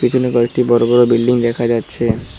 পিছনে কয়েকটি বড় বড় বিল্ডিং দেখা যাচ্ছে।